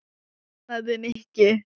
Opnaðu, Nikki.